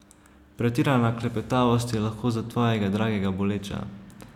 Pretirana klepetavost je lahko za tvojega dragega boleča.